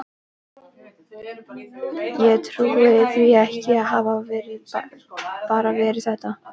Ég trúi því ekki að það hafi bara verið þetta.